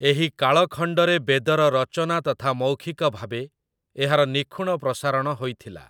ଏହି କାଳଖଣ୍ଡରେ ବେଦର ରଚନା ତଥା ମୌଖିକ ଭାବେ ଏହାର ନିଖୁଣ ପ୍ରସାରଣ ହୋଇଥିଲା ।